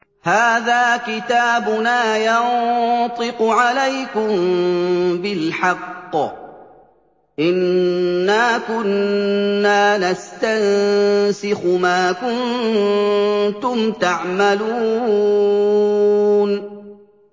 هَٰذَا كِتَابُنَا يَنطِقُ عَلَيْكُم بِالْحَقِّ ۚ إِنَّا كُنَّا نَسْتَنسِخُ مَا كُنتُمْ تَعْمَلُونَ